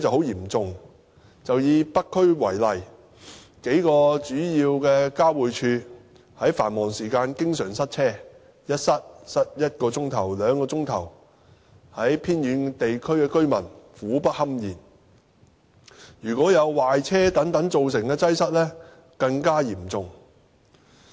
以北區為例，數個主要交匯處在繁忙時間經常塞車，有時塞車一小時，有時塞車兩小時，令偏遠地區的居民苦不堪言，如果有壞車等造成的擠塞，則更加嚴重。